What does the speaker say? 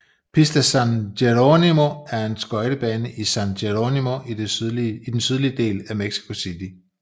Pista San Jerónimo er en skøjtebane i San Jerónimo i den sydlige del af Mexico city